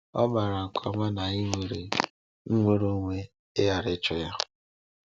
Ọ maara nke ọma na anyị nwere nnwere onwe ịghara ịchọ Ya.